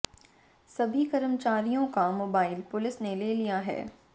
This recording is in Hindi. सभी कर्मचारियों का मोबाइल पुलिस ने ले लिया हैं